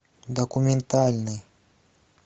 документальный